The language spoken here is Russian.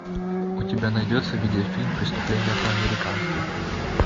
у тебя найдется видеофильм преступление по американски